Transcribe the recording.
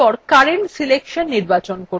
এরপর current selection নির্বাচন করুন